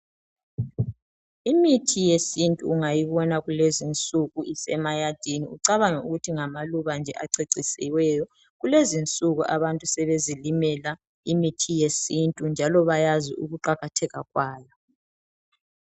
Imithi yesintu ungayibona kulezinsuku esemayadini ucabange ukuthi ngamaluba acecisiweyo kulezinsuku abantu sebezilimela imithi yesintu njalo bayazi ukuqakatheka kwayo.